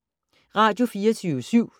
Radio24syv